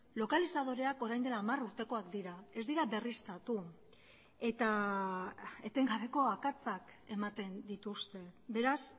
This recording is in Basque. lokalizadoreak orain dela hamar urtekoak dira ez dira berriztatu eta etengabeko akatsak ematen dituzte beraz